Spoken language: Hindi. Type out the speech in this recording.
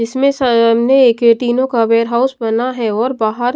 इसमें सामने एक तीनों का वेयर हाउस बना है और बाहर--